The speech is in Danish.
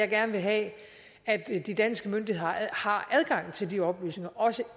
gerne have at de danske myndigheder har adgang til de oplysninger også